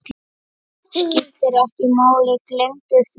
Skiptir ekki máli, gleymdu því.